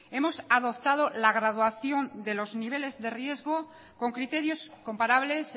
hemos adoptado la graduación de los niveles de riesgo con criterios comparables